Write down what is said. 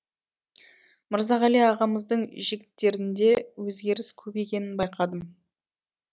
мырзағали ағамыздың жігіттерінде өзгеріс көп екенін байқадым